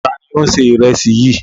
Ta ni ó ń se ìrẹsì yìí?